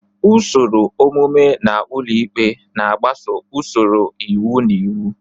Usoro omume na ụlọ ikpe na-agbaso usoro iwu na iwu.